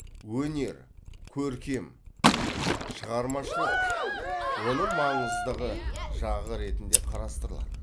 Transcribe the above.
өнер көркем шығармашылық оның маңызды жағы ретінде қарастырылады